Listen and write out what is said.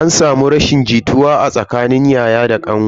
An samu rashin jituwa a tsakanin yaya da kanwa.